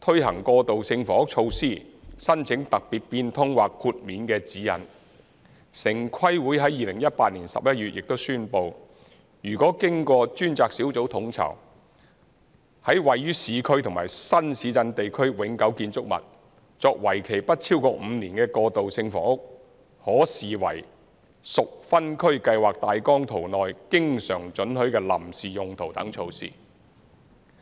推行過渡性房屋措施申請特別變通或豁免的指引》，城市規劃委員會在2018年11月亦宣布，如經專責小組統籌、在位於市區及新市鎮地區永久建築物，作為期不超過5年的過渡性房屋，可視為屬分區計劃大綱圖內經常准許的臨時用途等措施。